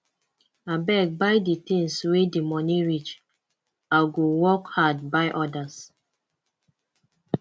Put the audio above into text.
abeg buy di tins wey di moni reach i go work hard buy odas